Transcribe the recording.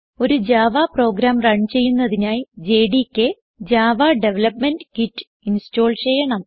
ഒരു Java program run ചെയ്യുന്നതിനായി JDK Java development kit install ചെയ്യണം